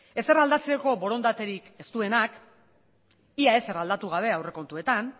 ezer aldatzeko borondaterik ez duenak ia ezer aldatu gabe aurrekontuetan